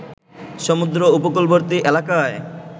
সমুদ্র উপকূলবর্তী এলাকায়